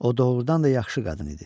O doğrudan da yaxşı qadın idi.